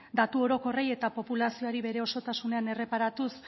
datu orokorrei eta populazioari bere osotasunean erreparatuz